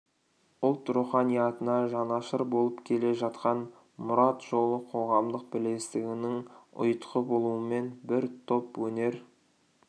ұлт руханиятына жанашыр болып келе жатқан мұрат жолы қоғамдық бірлестігінің ұйытқы болуымен бір топ өнер